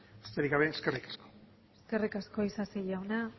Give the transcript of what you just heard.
besterik gabe eskerrik asko eskerrik asko isasi jauna